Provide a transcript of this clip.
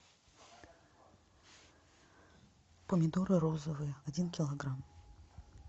помидоры розовые один килограмм